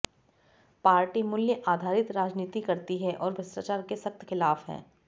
party मूल्य आधारित राजनीति करती है और भ्रष्टाचार के सख्त खिलाफ है